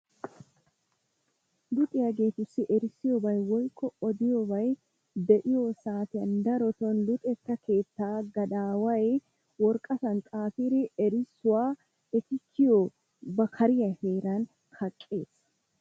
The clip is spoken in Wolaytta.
Luxiyaagetussi erissiyoobay woykko odiyoobay de'iyo saatiyan darotto luxeta timirtte keetta gadaway woraqqatan xaafidi erissuwa eti kiyiyo ba kariyaa heeran kaqqees.